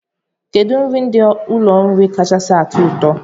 Kedụ nri ndị ụlọ nri kachasị atọ gị ụtọ?